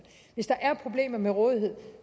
hvis der er problemer med rådigheden